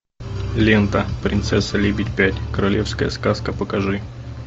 лента принцесса лебедь пять королевская сказка покажи